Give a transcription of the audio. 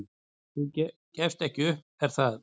"""Þú gefst ekki upp, er það?"""